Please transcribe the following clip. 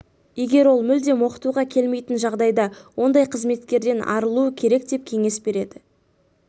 егер ол мүлдем оқытуға келмейтін жағдайда ондай қызметкерден арылу керек деп кеңес береді